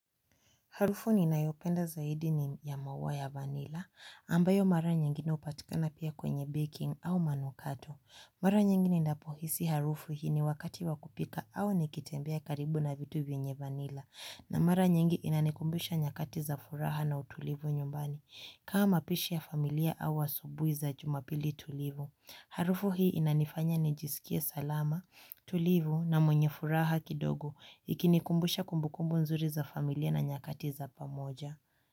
Harufu ni na yopenda zaidini ya mauwa ya vanilla, ambayo mara nyengine upatikana pia kwenye baking au manukato. Mara nyengine ninapohisi harufu hii ni wakati wakupika au nikitembea karibu na vitu vyenye vanilla. Na mara nyingi inanikumbusha nyakati za furaha na utulivu nyumbani, kama pishi ya familia au asubuhi za jumapili tulivu. Harufu hii inanifanya ni jisikia salama, tulivu na mwenye furaha kidogo ikinikumbusha kumbukumbu nzuri za familia na nyakati za pamoja.